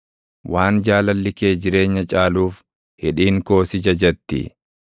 Waan jaalalli kee jireenya caaluuf, hidhiin koo si jajatti.